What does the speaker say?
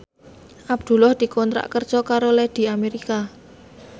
Abdullah dikontrak kerja karo Lady America